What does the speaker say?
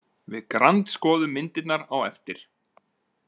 Við grandskoðum myndirnar á eftir.